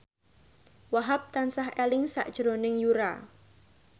Wahhab tansah eling sakjroning Yura